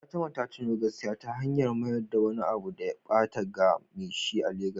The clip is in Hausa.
Fatima ta nuna gaskiya ta hanyar mayar da wani abu da ya ɓata ga me shi a Legas.